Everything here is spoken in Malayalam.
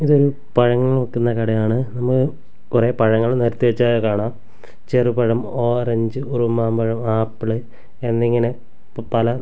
ഇതൊരു പഴങ്ങൾ വിൽക്കുന്ന കടയാണ് നമ്മക്ക് കുറെ പഴങ്ങൾ നിരത്തി വെച്ചതായി കാണാം ചെറു പഴം ഓറഞ്ച് ഉറുമാമ്പഴം ആപ്പിൾ എന്നിങ്ങനെ പല--